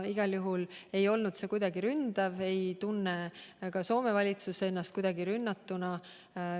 Igal juhul ei olnud see kuidagi ründav, ka Soome valitsus ei tunne ennast kuidagi rünnatuna.